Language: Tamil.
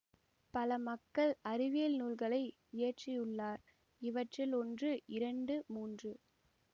பல மக்கள் அறிவியல் நூல்களை இயற்றியுள்ளார் இவற்றில் ஒன்று இரண்டு மூன்று